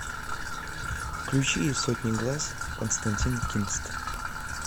включи из сотни глаз константин кинст